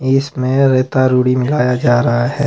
इसमें रायता रूडी मिलाया जा रहा है।